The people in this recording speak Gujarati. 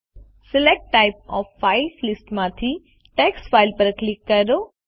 select type of file list માંથી ટેક્સ્ટ ફાઇલ પર ક્લિક કરો